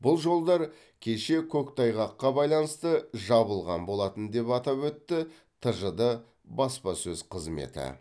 бұл жолдар кеше көктайғаққа байланысты жабылған болатын деп атап өтті тжд баспасөз қызметі